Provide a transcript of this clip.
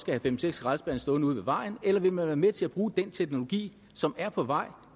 have fem seks skraldespande stående ude ved vejen eller vil man være med til at bruge den teknologi som er på vej